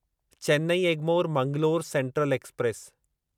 Chennai Egmore Mangalore central express